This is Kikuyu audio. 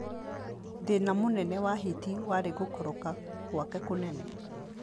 Thĩna mũnene wa Hiti warĩ gũkoroka gwake kũnene.